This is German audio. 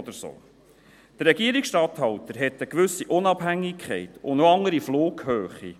Der Regierungsstatthalter hat eine gewisse Unabhängigkeit und auch eine andere Flughöhe.